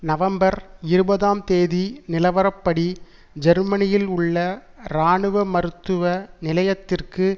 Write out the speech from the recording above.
November இருபதாம் தேதி நிலவரப்படி ஜெர்மனியில் உள்ள இராணுவ மருத்துவ நிலையத்திற்கு